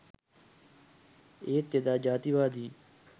ඒත් එදා ජාතිවාදීන්